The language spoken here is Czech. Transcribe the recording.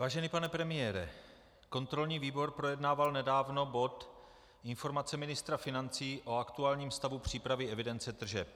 Vážený pane premiére, kontrolní výbor projednával nedávno bod Informace ministra financí o aktuálním stavu přípravy evidence tržeb.